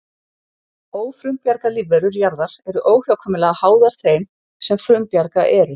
Ófrumbjarga lífverur jarðar eru óhjákvæmilega háðar þeim sem frumbjarga eru.